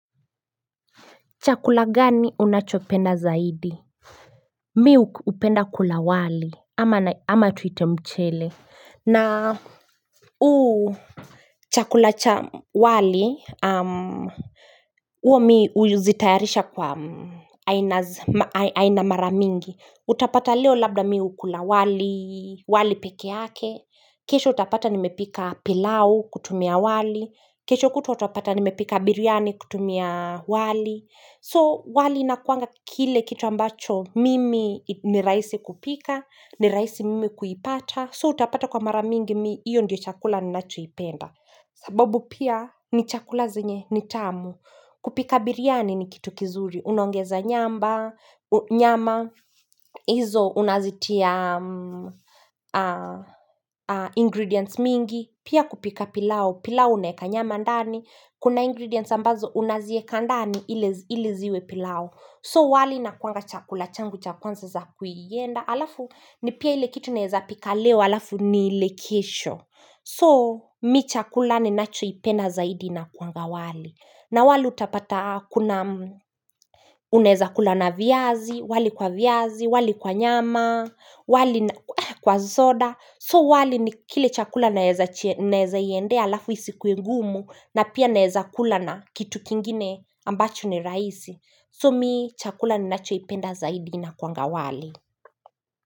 Chakula gani unachopenda zaidi? Mi hupenda kula wali ama tuite mchele na uu. Chakula cha wali uo mi uzitayarisha kwa aina mara mingi. Utapata leo labda mi hukula wali walipeke yake. Kesho utapata nimepika pilau kutumia wali. Kesho kutwa utapata nimepika biryani kutumia wali. So wali inakuanga kile kitu ambacho mimi ni raisi kupika, ni raisi mimi kuipata. So utapata kwa mara mingi mii, iyo ndio chakula ninachoipenda. Sababu pia ni chakula zenye ni tamu. Kupika biriani ni kitu kizuri. Unaongeza nyamba, nyama, hizo unazitia ingredients mingi. Pia kupika pilau, pilau unaeka nyama ndani. Kuna ingredients ambazo unazieka ndani ili ziwe pilau So wali inakuanga chakula, changu cha kwanza za kuienda Alafu ni pia ile kitu naeza pika leo, alafu nile kesho So mi chakula ninachoipenda zaidi inakuanga wali na wali utapata kuna unaeza kula na viazi, wali kwa viazi, wali kwa nyama, wali kwa zoda So wali ni kile chakula naeza iendea alafu isikue ngumu na pia naeza kula na kitu kingine ambacho ni raisi. So mi chakula ninachoipenda zaidi inakuanga wali.